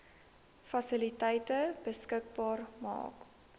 fasiliteite beskikbaar maak